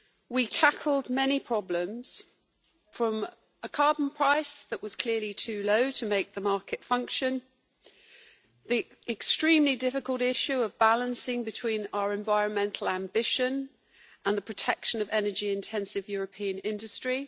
We tackled many problems from a carbon price that was clearly too low to make the market function to the extremely difficult issue of striking the balance between our environmental ambition and the protection of energy intensive European industry.